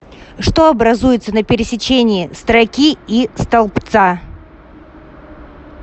что образуется на пересечении строки и столбца